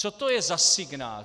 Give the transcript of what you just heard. Co to je za signál?